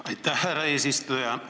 Aitäh, härra eesistuja!